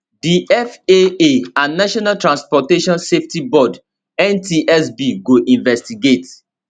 di faa and national transportation safety board ntsb go investigate